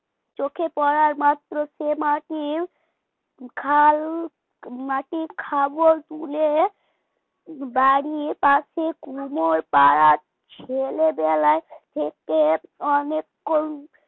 চোখে পড়া মাত্র সে মাটি খাল মাটি খাবল তুলে বাড়ির পাশে কুমোর পাড়া ছেলেবেলা থেকে অনেকক্ষণ